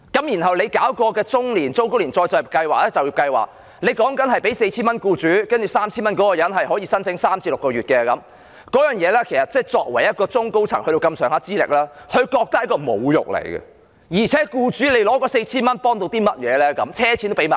然後，政府推行中高齡就業計劃，向僱主支付 4,000 元，申請人則有 3,000 元，可以申請3至6個月，這對於具備不錯資歷的中高層人員來說，他們會覺得是一種侮辱，而且僱主得到的 4,000 元又有甚麼幫助呢？